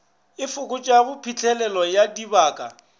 e fokotšago phitlhelelo ya dibaka